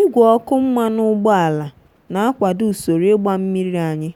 igwe ọkụ mmanụ ụgbọala na-akwado usoro ịgba mmiri anyị